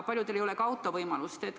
Paljudel ei ole ka auto kasutamise võimalust.